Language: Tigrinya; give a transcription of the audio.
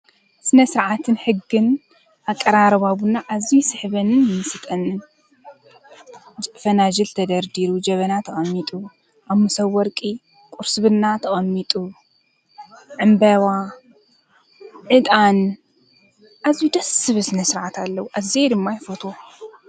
ስነ-ስርዓትን ሕጊን ኣቀራርባ ቡና ኣዝዩ ይስሕበንን ይምስጠንን ፈናጅል ተደርዲሩ ጀበና ተቐሚጡ ኣብ መሰብ ወርቂ ቁርስ ቡና ተቐሚጡ ዕንበባ፣ ዕጣን ፣ ኣዝዩ ደስ ዝብል ስነ -ስርዓት ኣለዎ ኣዝየ ድማ ይፍትዎ።፣